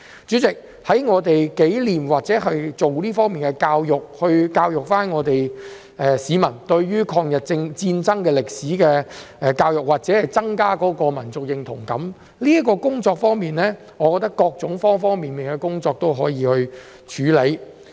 主席，在我們紀念抗日戰爭或教育市民這方面的歷史，以增加民族認同感一事上，我覺得可以透過方方面面的工作去處理。